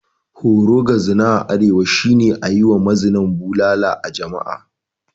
Horo ga zina a arewa shi ne ayi ma mazinan bulala a jama'a.